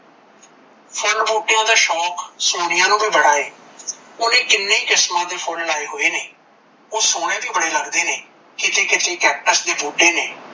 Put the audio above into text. ਫੁੱਲ ਬੁਟਿਆ ਦਾ ਸ਼ੋਂਕ ਸੋਨੀਆ ਨੂੰ ਵੀ ਬੜਾ ਏ ਓਨੇ ਕੀਨੇ ਕਿਸਮਾਂ ਦੇ ਫੁੱਲ ਲਾਏ ਹੋਏ ਨੇ ਓਹ ਸੋਣੇ ਵੀ ਬੜੇ ਲੱਗਦੇ ਨੇ ਕਿਤੇ ਕਿਤੇ cactus ਦੇ ਬੂਟੇ ਨੇ